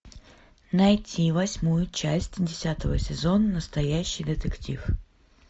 найти восьмую часть десятого сезона настоящий детектив